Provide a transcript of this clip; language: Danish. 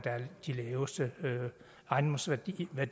de laveste ejendomsværdier det